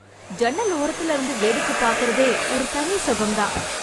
ஜன்னல் ஓரத்தில இருந்து வேடிக்கை பார்க்கிறதே ஒரு தனி சுகம் தான்